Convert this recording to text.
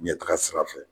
Ɲɛtaga sira fɛ